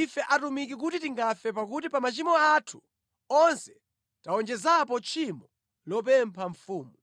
ife atumiki kuti tingafe pakuti pa machimo athu onse tawonjezapo tchimo lopempha mfumu.”